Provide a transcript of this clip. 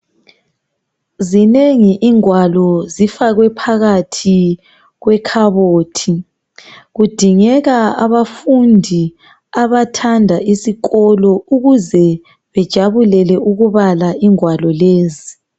Zinengi ingwalo, zifakwe phakathi kwekhabothi. Kudingeka abafundi abathanda isikolo ukuze bajabulele ukubala ingwalo lezi.